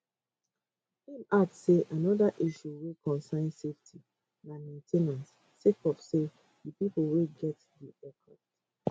im add say anoda issue wey concern safety na main ten ance sake of say di pipo wey get di aircrafts